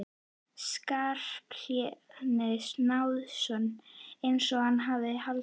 Skarphéðins Njálssonar eins og hann hafði haldið.